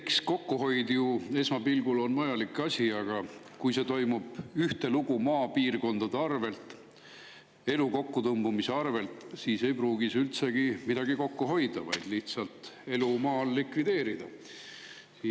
Eks kokkuhoid on esmapilgul vajalik asi, aga kui see toimub ühtelugu maapiirkondade arvelt, elu kokkutõmbumise, siis ei pruugita üldsegi midagi kokku hoida, vaid lihtsalt elu maal likvideerida.